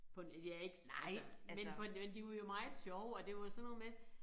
På en altså jeg ikke altså men på men de var jo meget sjove og det var jo sådan noget med